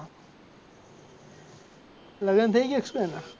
લગન થઈ ગયા કે શું એના